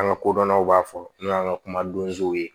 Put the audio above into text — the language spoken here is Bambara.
An ka kodɔnnaw b'a fɔ n'o y'an ka kuma donw ye